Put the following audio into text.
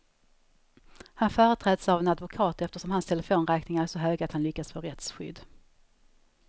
Han företräds av en advokat eftersom hans telefonräkningar är så höga att han lyckats få rättsskydd.